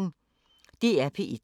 DR P1